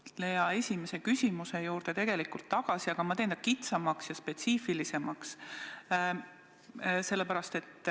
Ma tulen eelmise küsija esimese küsimuse juurde tagasi, aga ma teen selle kitsamaks ja spetsiifilisemaks.